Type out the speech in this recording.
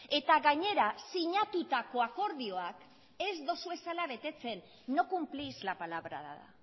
eta gainera sinatutako akordioak ez dituzuela betetzen no cumplís la palabra dada